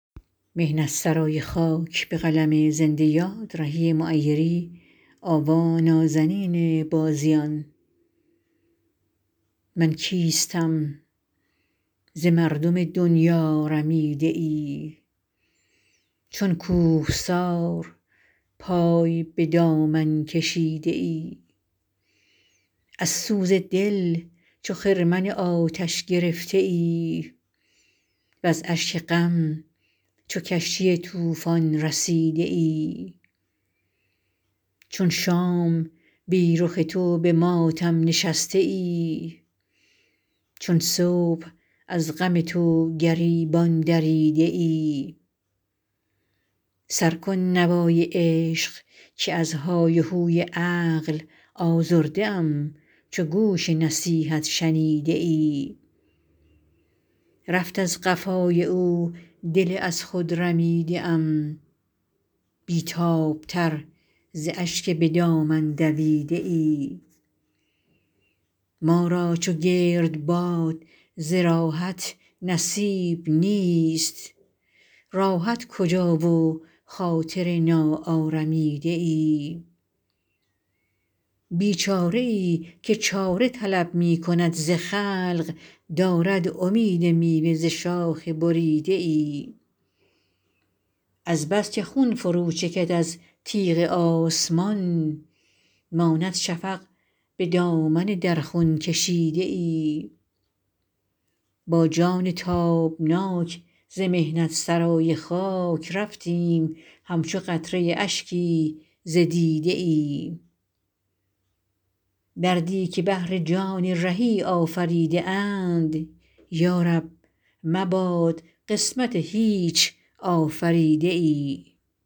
من کیستم ز مردم دنیا رمیده ای چون کوهسار پای به دامن کشیده ای از سوز دل چو خرمن آتش گرفته ای وز اشک غم چو کشتی طوفان رسیده ای چون شام بی رخ تو به ماتم نشسته ای چون صبح از غم تو گریبان دریده ای سر کن نوای عشق که از های و هوی عقل آزرده ام چو گوش نصیحت شنیده ای رفت از قفای او دل از خود رمیده ام بی تاب تر ز اشک به دامن دویده ای ما را چو گردباد ز راحت نصیب نیست راحت کجا و خاطر ناآرمیده ای بیچاره ای که چاره طلب می کند ز خلق دارد امید میوه ز شاخ بریده ای از بس که خون فرو چکد از تیغ آسمان ماند شفق به دامن در خون کشیده ای با جان تابناک ز محنت سرای خاک رفتیم همچو قطره اشکی ز دیده ای دردی که بهر جان رهی آفریده اند یا رب مباد قسمت هیچ آفریده ای